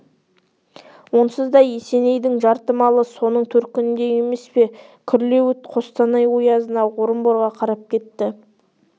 онсыз да есенейдің жарты малы соның төркінінде емес пе күрлеуіт қостанай оязына орынборға қарап кетті